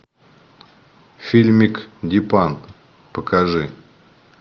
фильмик дипан покажи